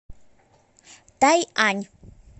тайань